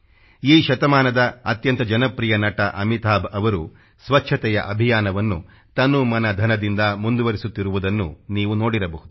ಈ ಶತಮಾನದ ಅತ್ಯಂತ ಜನಪ್ರಿಯ ನಟ ಅಮಿತಾಭ್ ಅವರು ಸ್ಚಚ್ಛತೆಯ ಅಭಿಯಾನವನ್ನು ತನು ಮನ ಧನದಿಂದ ಮುಂದುವರಿಸುತ್ತಿರುವುದನ್ನು ನೀವು ನೋಡಿರಬಹುದು